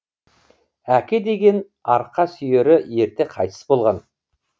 әке деген арқа сүйері ерте қайтыс болған